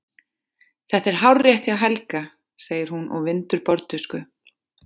Þetta er hárrétt hjá Helga, segir hún og vindur borðtusku.